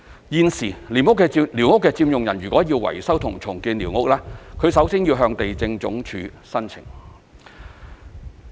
現時，寮屋的佔用人如要維修和重建寮屋，首先要向地政總署申請。